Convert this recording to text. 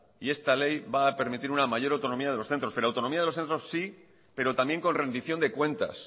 y esta ley va a permitir una mayor autonomía de los centros pero autonomía de los centros sí pero también con rendición de cuentas